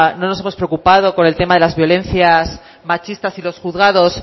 no nos hemos preocupado por el tema de las violencias machistas y los juzgados